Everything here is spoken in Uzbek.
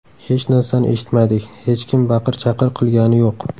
Hech narsani eshitmadik, hech kim baqir-chaqir qilgani yo‘q.